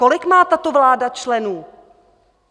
Kolik má tato vláda členů?